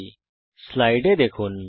এই স্লাইডে দেখুন